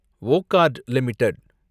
Wockhardt limited